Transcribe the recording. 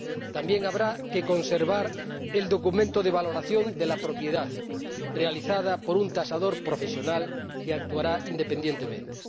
También habrá que conservar el documento de valoración de la propiedad, realizada por un tasador profesional que actuará independientemente.